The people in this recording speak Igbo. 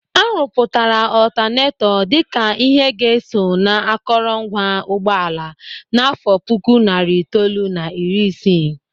A rụpụtara ọtanetọ dịka ihe ga-eso na akọrọ ngwa ụgbọala n'àfọ́ puku narị itoolu na iri isii